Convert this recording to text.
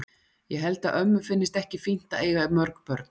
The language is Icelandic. Ég held að ömmu finnist ekki fínt að eiga mörg börn.